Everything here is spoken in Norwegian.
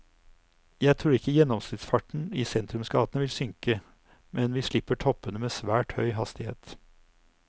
Jeg tror ikke gjennomsnittsfarten i sentrumsgatene vil synke, men vi slipper toppene med svært høy hastighet.